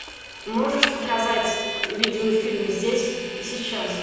можешь показать видеофильм здесь и сейчас